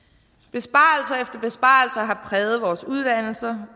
besparelser efter besparelser har præget vores uddannelser